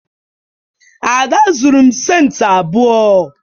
Ada zuru m centi abuo